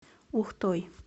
ухтой